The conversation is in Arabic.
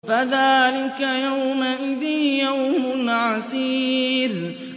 فَذَٰلِكَ يَوْمَئِذٍ يَوْمٌ عَسِيرٌ